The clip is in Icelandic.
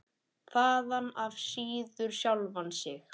Þaðan af síður sjálfan sig.